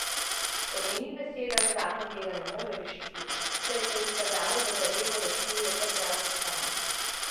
Po njenih besedah zakon tega ne more rešiti, se je pa izkazalo, da zadevo rešujejo kar bralci sami.